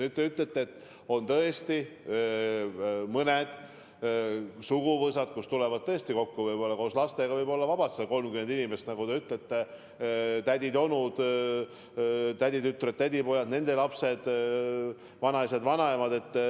Nagu te ütlete, on tõesti mõned suguvõsad, kes tulevad tavaliselt kokku ja kus koos lastega võib olla vabalt näiteks 30 inimest: tädid ja onud, täditütred, tädipojad, nende lapsed, vanaisad, vanaemad.